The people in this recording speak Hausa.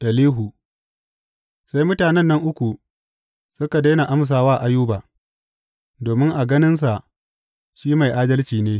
Elihu Sai mutanen nan uku suka daina amsa wa Ayuba, domin a ganinsa shi mai adalci ne.